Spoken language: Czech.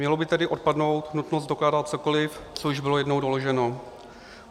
Měla by tedy odpadnout nutnost dokládat cokoli, co již bylo jednou doloženo.